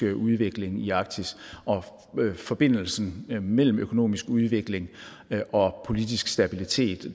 udvikling i arktis forbindelsen mellem økonomisk udvikling og politisk stabilitet